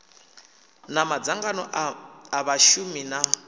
na madzangano a vhashumi na